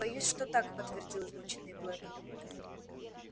боюсь что так подтвердил измученный блэк